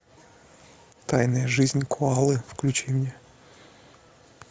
тайная жизнь коалы включи мне